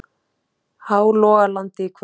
Hálogalandi í kvöld.